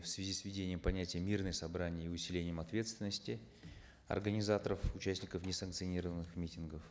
в связи с введением понятия мирные собрания и усилением ответственности организаторов участников несанкционированных митингов